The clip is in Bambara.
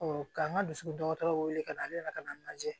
ka n ka dusu dɔgɔtɔrɔw wele ka na ale nana ka na n lajɛ